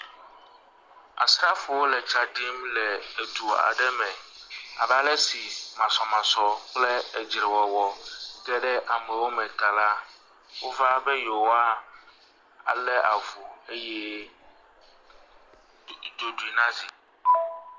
Asrafowo le tsa ɖim le edu aɖe me abe ale si masɔmasɔ kple edzrewɔwɔ ge ɖe amewo me ta la, wova be yewoalé avu eye ɖu, ɖoɖoe na zi.